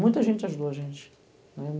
Muita gente ajudou a gente.